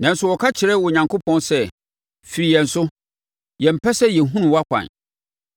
Nanso wɔka kyerɛ Onyankopɔn sɛ, ‘Firi yɛn so! Yɛmpɛ sɛ yɛhunu wʼakwan.